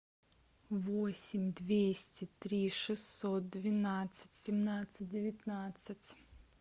восемь двести три шестьсот двенадцать семнадцать девятнадцать